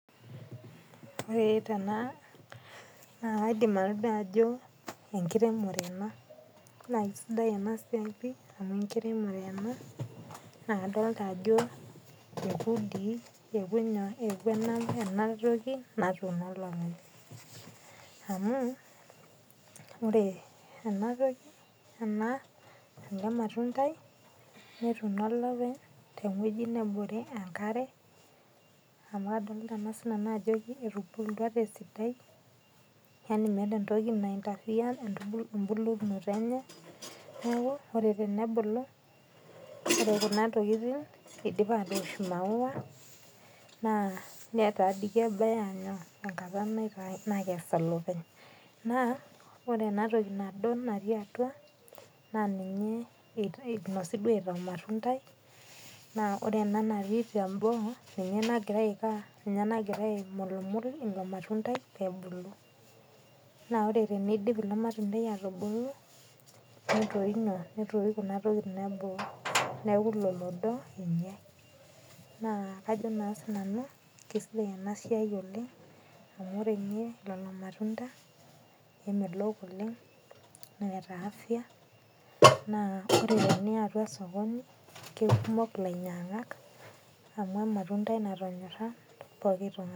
Ore tena naa kaidim atodua ajo enkiremore enaa. Naa kisidai enaa siai amu enkiremore enaa naa kadolita ajo ekuu dii eku nyoo? Eku ena toki natuuno oltung'ani. Amu ore ena matundai neetuno olepeny teweji nebore enkare. Nadolita sii ninye nanu ajo etubulutua tesidai yaani meeta entoki naa interfere embulunoto enye. Neeku ore tenebulu ore kuna tokitin idipa atoosh ii maua naa neeta doii kebaya nyoo? Enkata nakes olepeny. Naa ore ena toki nado naati atua naa ninye inosi duo aitaa ormatundai. Naa ore ena naati teboo ninye nagira aiko aa? Ninye nagira aimulimul ilo matundai pebulu. Naa ore pee idip ilo matundai atubulu netoyu kuna tokitin eboo neeku ilo lodo enyae naa kajo si nanu kisidai ena siai oleng' amu ore ninye lelo matunda kemelok oleng' neeta afya naa teniya atua sokoni, kikumok ilainyang'ak amu ormatundai natonyorra pokin toki.